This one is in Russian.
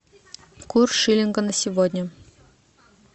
курс шиллинга на сегодня